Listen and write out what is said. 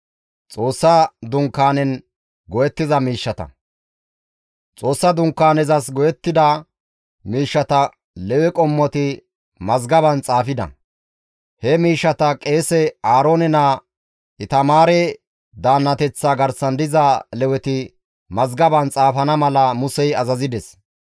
Xoossa Dunkaanezas go7ettida miishshata Lewe qommoti mazgaban xaafida. He miishshata qeese Aaroone naa Itamaare daannateththa garsan diza Leweti mazgaban xaafana mala Musey azazides.